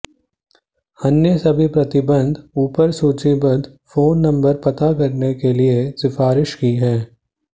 अन्य सभी प्रतिबंध ऊपर सूचीबद्ध फोन नंबर पता करने के लिए सिफारिश की है